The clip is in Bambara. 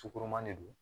Sukoroman de don